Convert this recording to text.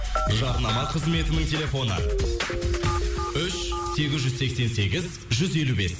жарнама қызметінің телефоны үш сегіз жүз сексен сегіз жүз елу бес